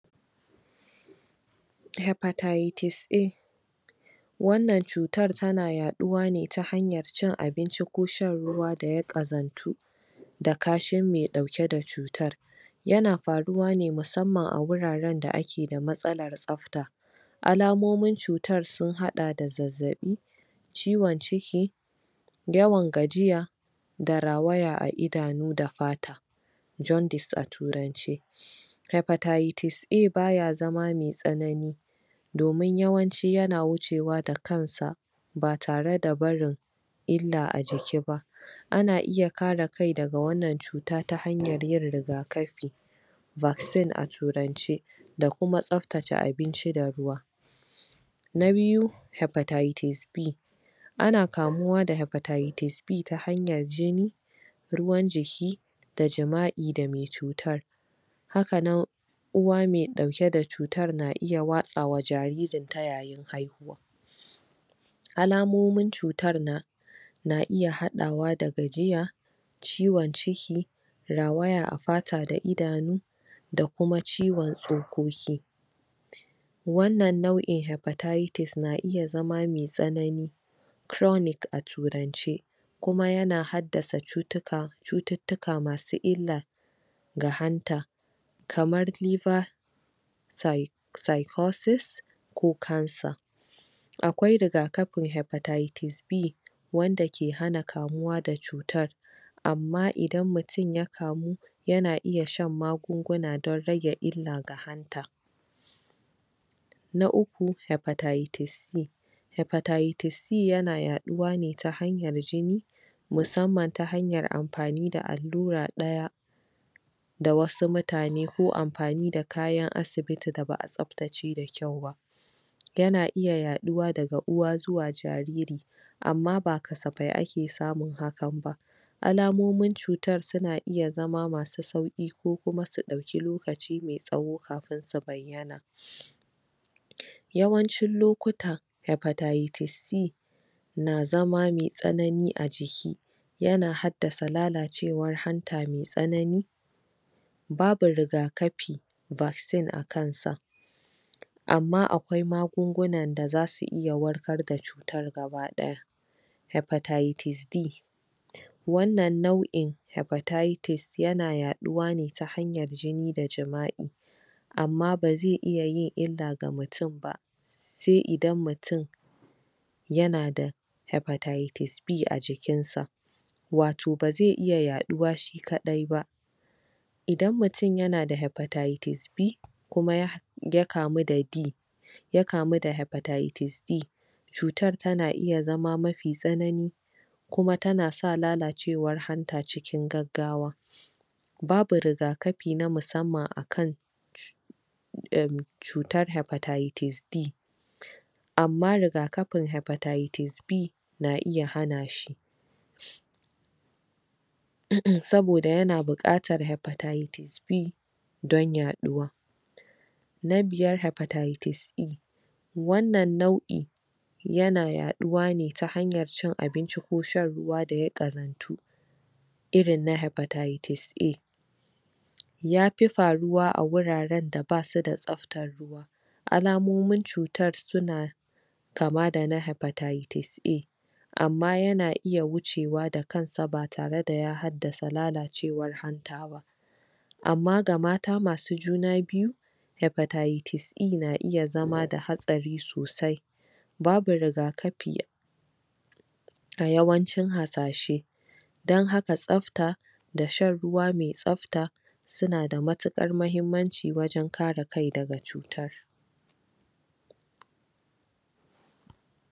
Hepatitis A wannan cutar tana yaduwa ne ta hanyar cin abinci ko shan Ruwa da ya kazantu da kashin mai dauke da cutar yana faruwa ne musamman a wuraren da ake da matsalar tsafta alamomin cutar sun hada da zazzabi ciwon jiki yawan gajiya da rawaya a idanu da fata jaundice a turanci hypertitis A baya zama mai tsanani domin yawanci yana wucewa da kansa ba tare da barin illa a jiki ba ana kara kai daga wannan cutar ta hanyar yin rigakafi vaccine a turance da kuma tsaftace abinci da ruwa. Na biyu Hypertitis B ana kamuwa da Hypertitis B ta hanyar jini, ruwan jiki da jima'i da mai cutar haka nan, uwa mai dauke da cutar na iya watsawa jaririnta yayin haihuwa alamomin cutar na iya hadawa da gajiya ciwon ciki rawaya a fata da idanu da kuma ciwon tsokoki wannan nau'i hypertitis na iya zama mai tsanani chronic a turance kuma yana haddasa cututtuka-cututtula masu illa ga hanta kamar liver Cy - cycosis ko cancer. Akwai rigakafin hypertitis B wanda ke hana kamuwa da cutar amma idan mutum ya kamu yana iya shan magunguna don rage illa ga hanta Na uku Hypertitis C Hepatitis c yana yafuwa ne ta hanyar jini musamman ta hanyar amfani da allura ɗaya da wasu mutane ko amfani da kayan asibiti da ba'a tsaftace da kyau ba yana iya yafuwa daga uwa ziwa jariri amma ba kasafai ake samun haka ba alamomin cutar suna iya zama masu sauki ko su dauki lokaci mai tsawo kafin su bayyana Yawancin lokuta hypertitis C na zama mai tsanani a jiki, yana haddasa lalacewar habta mai tsanani babu rigakafi vaccine akansa amma akwai magunguna da zasu iya warkar da cutar gabadaya Hepatitis D wannan nau'in hypertitis na yaduwa ne ta hanyar jini da jima'i amma ba zai iya yin illa ga mutum ba sai idan mutum yana da Hypertitis B a jikinsa wato ba zai iya yaduwa shi kadai ba idan mutum yana da Hypertitis B kuma ya kamu da D ya kamu da hypertitis D cutar tana iya zama mafi tsanani kuma tana sa lalacewar hanta cikin gaggawa babu rigakafi musamman akan cutar hypertitis D amma rigakafin hypertitis B na iya hana shi saboda yana bukatar hypertitis B don yaduwa. Na biyar Hypertitis E wannan naui yana yaduwa ne ta hanyar cin abinci ko shan ruwa da ya kazantu, irin na hypertitis A yafi faruwa a wuraren da badu da tsaftar ruwa, alamomin cutar suna kama da na hypertitis A amma yana iya wucewa da kansa ba tare da ya haddasa lalacewar hanta ba amma ga mata masu jina biyu hypertitis E na iya zama da hatsari sosai babu rigakafi a yawancin hasashe don haka tsafta da shan ruwa mai tsafta suna da mutukar muhimmanci wajen kare kai daga cutar.